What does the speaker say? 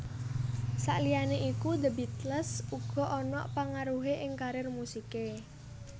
Saliyane iku The Beatles uga ana pangaruhe ing karier musike